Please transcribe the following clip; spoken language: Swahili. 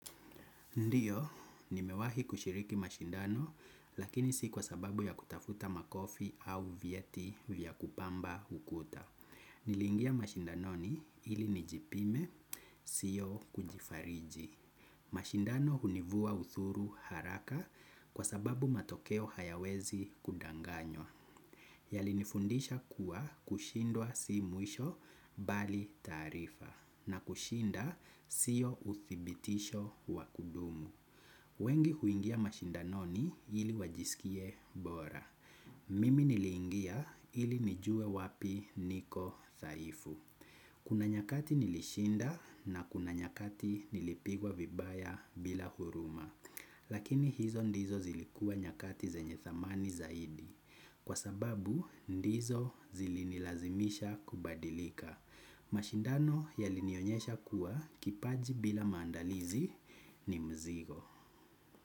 Ndiyo, nimewahi kushiriki mashindano lakini si kwa sababu ya kutafuta makofi au vyeti vya kupamba ukuta. Nilingia mashindanoni ilinijipime, sio kujifariji. Mashindano hunivua uthuru haraka kwa sababu matokeo hayawezi kudanganywa. Yalinifundisha kuwa kushindwa si mwisho bali taarifa na kushinda sio uthibitisho wa kudumu. Wengi huingia mashindanoni ili wajisikie bora. Mimi niliingia ili nijue wapi niko thaifu. Kuna nyakati nilishinda na kuna nyakati nilipigwa vibaya bila huruma. Lakini hizo ndizo zilikua nyakati zenye thamani zaidi. Kwa sababu ndizo zilinilazimisha kubadilika. Mashindano yalinionyesha kuwa kipaji bila maandalizi ni mzigo.